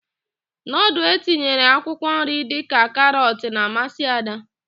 Nudul etinyere akwụkwọnri dịka karọt na-amasị Ada.